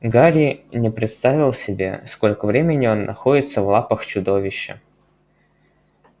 гарри не представил себе сколько времени он находится в лапах чудовища